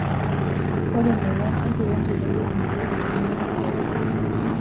Ore emoyian empiron tenebo enkiroshi toronok negira ailepu.